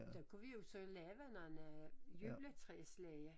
Der kunne vi jo så lave nogle juletræslege